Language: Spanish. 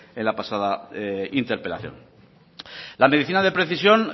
en la pasada interpelación la medicina de precisión